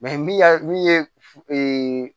min y'a min ye